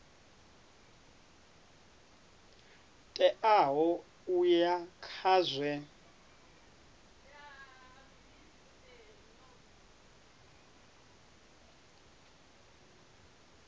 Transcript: teaho u ya nga zwe